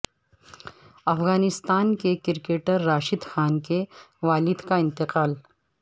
افغانستان کے کرکٹر راشد خان کے والد کا انتقال